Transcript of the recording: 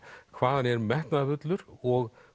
hvað hann er metnaðarfullur og